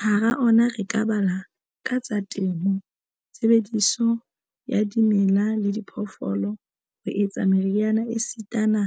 Hara ona re ka bala a tsa temo, tshebediso ya dimela le diphoofolo ho etsa meriana esitana